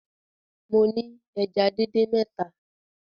Mo ni èjá díndín mẹta